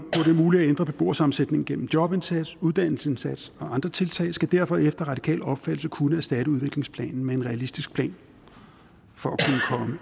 er muligt at ændre beboersammensætningen gennem jobindsats uddannelsesindsats og andre tiltag skal derfor efter radikal opfattelse kunne erstatte udviklingsplanen med en realistisk plan for